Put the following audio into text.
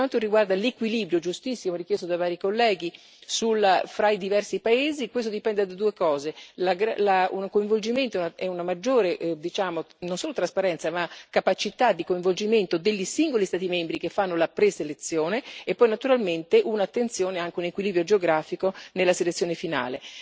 Per quanto riguarda l'equilibrio, giustissimo, richiesto da vari colleghi, fra i diversi paesi, questo dipende da due cose un coinvolgimento e una maggiore, diciamo, non solo trasparenza, ma capacità di coinvolgimento dei singoli Stati membri che fanno la preselezione, e poi naturalmente un'attenzione e anche un equilibrio geografico nella selezione finale.